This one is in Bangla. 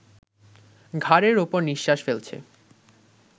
ঘাড়ের ওপর নিঃশ্বাস ফেলছে